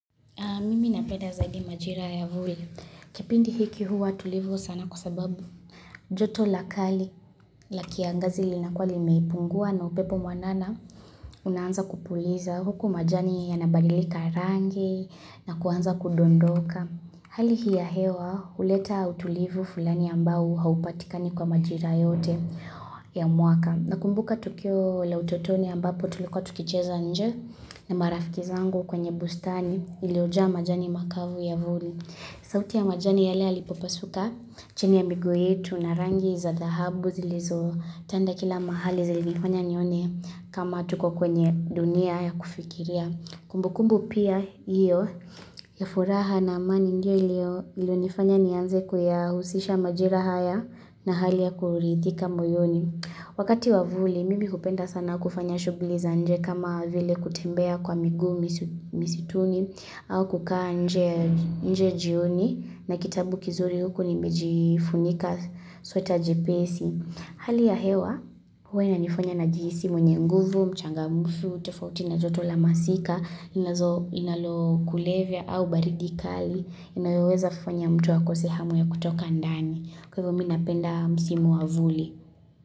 Mimi napenda zaidi majira ya vuli. Kipindi hiki huwa tulivu sana kusababu. Joto lakali la kiangazi linakuwa limepungua na upepo mwanana unaanza kupuliza huku majani ya nabadilika rangi na kuanza kudondoka. Hali hii ya hewa huleta utulivu fulani ambao haupatikani kwa majira yote ya mwaka. Na kumbuka tukio la utotoni ambapo tuliko tukicheza nje na marafikizangu kwenye bustani iliyojaa majani makavu ya vuli. Sauti ya majani yale alipopasuka chini ya miguu yetu na rangi za dhahabu zilizo tanda kila mahali zilifanya nione kama tuko kwenye dunia ya kufikiria. Kumbukumbu pia hiyo ya furaha na amani ndio iliyo nifanya nianze kuya husisha majira haya na hali ya kuridhika moyoni. Wakati wavuli, mimi hupenda sana kufanya shughli za nje kama vile kutembea kwa miguu misituni au kukaa nje jioni na kitabu kizuri huko nimejifunika sweta jepesi. Hali ya hewa, huwa inanifanya na jihisi mwenye nguvu, mchangamfu, tofauti na joto la masika, inazo inalo kulevya au baridikali, inayoweza fanya mtu akose hamu ya kutoka ndani. Kwa hivyo minapenda msimu wavuli.